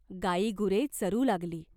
गायीगुरे चरू लागली.